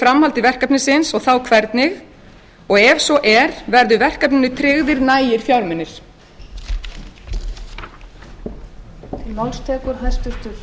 framhaldi verkefnisins og þá hvernig ef svo er hvernig verður verkefninu tryggt nægilegt fé svo að það geti staðið undir væntingum